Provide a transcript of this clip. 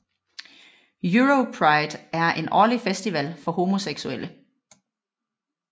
Europride er en årlig festival for homoseksulle